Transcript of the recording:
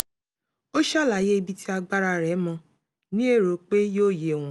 ó ṣàlàyé ibi tí agbára rẹ̀ mó ní èrò pé yóò yé wọn